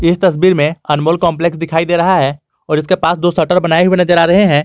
इस तस्वीर में अनमोल कॉम्प्लेक्स दिखाई दे रहा है और इसके पास दो शटर बनाए हुए नजर आ रहे हैं।